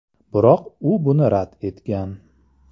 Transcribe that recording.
Biroq u buni rad etgan.